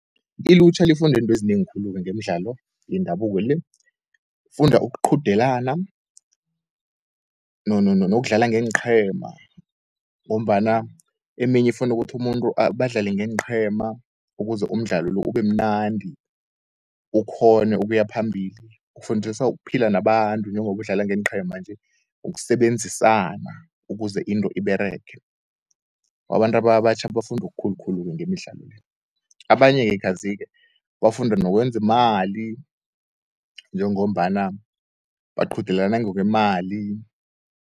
Ilutjha lifunda into ezinengikhulu-ke ngemdlalo yendabuko le, funda ukuqudelana nokudlala ngeenqhema ngombana eminye ifuna ukuthi umuntu badlale ngeenqhema ukuze umdlalo lo, ubemnandi. Ukghone ukuya phambili ufundisa ukuphila nabantu njengobu udlala ngeenqhema nje, ukusebenzisana ukuze into iberege. Abantu abatjha bafundo okukhulukhulu ngemidlalo le, abanye-ke kazi-ke bafunda nokwenzi imali njengombana baqudelana ngokwemali.